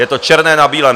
Je to černé na bílém.